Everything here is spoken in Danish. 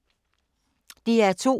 DR2